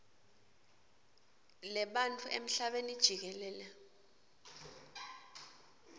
lebantfu emhlabeni jikelele